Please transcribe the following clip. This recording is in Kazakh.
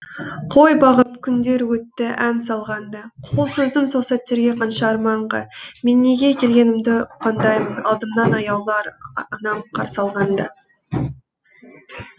қой бағып күндер өтті ән салған да қол создым сол сәттерде қанша арманға мен неге келгенімді ұққандаймын алдымнан аяулы анам қарсы алғанда